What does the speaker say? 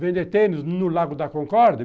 vender tênis no Lago da Concórdia?